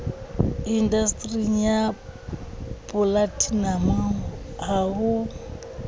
indastering ya polatinamo ha ho